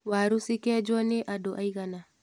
Waru cikenjwo nĩ andũ aigana.